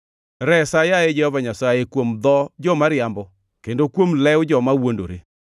Resa, yaye Jehova Nyasaye, kuom dho joma riambo kendo kuom lew joma wuondore.